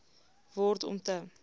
word om te